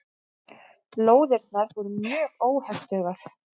Lóðirnar voru mjög óhentugar.